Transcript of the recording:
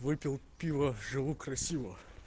выпил пиво живу красиво